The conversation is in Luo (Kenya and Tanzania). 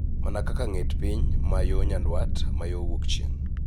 Mana kaka ng�et piny ma yo nyandwat ma yo wuok chieng�.